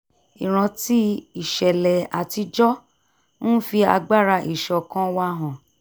ìrántí ìṣẹ̀lẹ̀ àtijọ́ ń fi agbára ìṣọ̀kan wa hàn